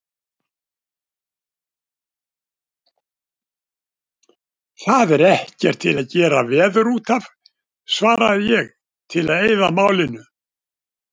Það er ekkert til að gera veður útaf, svaraði ég til að eyða málinu.